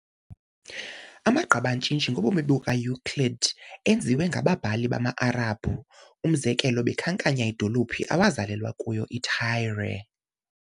Amagqabantshintshi ngobomi bukaEuclid anikwe ngababhali bamaArabhu, umzekelo, bekhankanya, idolophu awazalelwa kuyo iTyre.